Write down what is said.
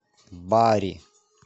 бари